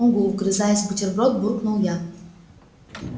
угу вгрызаясь в бутерброд буркнул я